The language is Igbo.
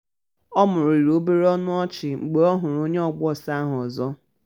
o mumuru obere ọnụ ọchị mgbe ọ hụrụ onye ọgba ọsọ ahụ ọzọ.